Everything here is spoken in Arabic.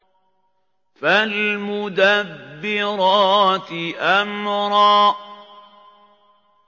فَالْمُدَبِّرَاتِ أَمْرًا